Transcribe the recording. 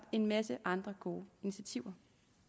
en masse andre gode initiativer